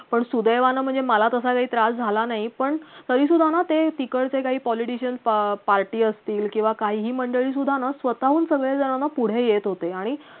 पण सुदैवानं म्हणजे मला तसा काही त्रास झाला नाही पण तरी सुद्धा ना ते तिकडेच काही politician party असतील किंवा काहीही मंडळी सुद्धा ना स्वताहून सगळेजणना पुढे येत होते आणि